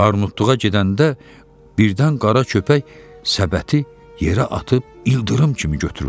Armudluğa gedəndə birdən qara köpək səbəti yerə atıb ildırım kimi götürüldü.